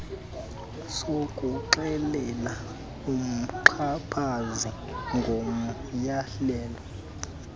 sokuxelela umxhaphazi ngomyalelo